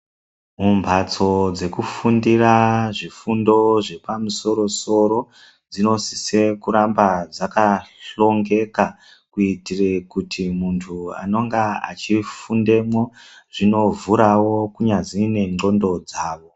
Mumbatso dzekufundira zvifundo zvepamusoro soro dzinosise kuramba dzakahlongeka kuitika kuti munthu anonga achifundemwo zvinovhurao kunyazi nendxondo dzao.